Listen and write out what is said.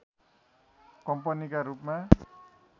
कम्पनीका रूपमा